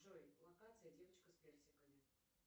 джой локация девочка с персиками